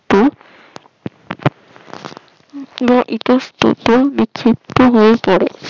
ইহা ইতস্তত বিচিত্র হয়ে গেলে